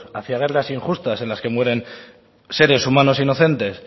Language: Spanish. hacia guerras injustas en las que mueren seres humanos inocentes